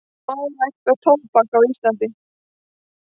Má rækta tóbak á Íslandi?